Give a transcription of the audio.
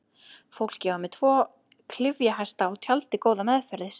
Fólkið var með tvo klyfjahesta og tjaldið góða meðferðis.